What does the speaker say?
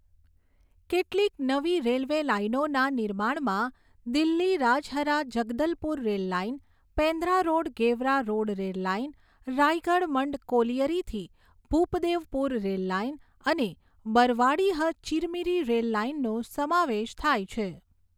કેટલીક નવી રેલવે લાઇનોના નિર્માણમાં Delhi Rajhara Jagdalpur rail line, Pendra road Gevra road rail line, Raigarh Mand કોલીયરીથી ભૂપદેવપુર રેલ લાઇન અને બરવાડીહ ચિરમીરી રેલ લાઇનનો સમાવેશ થાય છે.